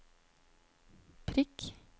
prikk